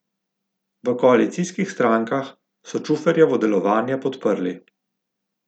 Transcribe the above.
V koalicijskih strankah so Čuferjevo delovanje podprli.